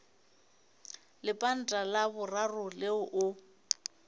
lepanta la boraro leo o